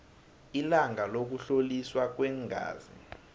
ilanga lokuhloliswa kweengazi